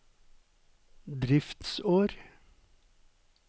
driftsår